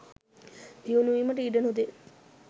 දියුණු වීමට ඉඩ නොදෙයි.